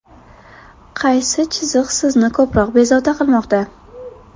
Qaysi chiziq sizni ko‘proq bezovta qilmoqda?